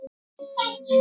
Létum við verkin tala.